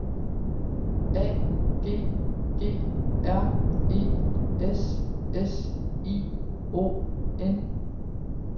A G G R E S S I O N